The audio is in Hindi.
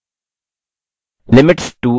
limits to increase a level के नीचे: